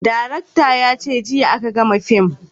Darakta ya ce jiya a ka gama fim